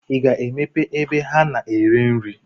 I ga-emepe ebe a na-ere nri?